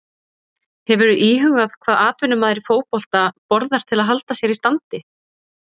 Hefurðu íhugað hvað atvinnumaður í fótbolta borðar til að halda sér í standi?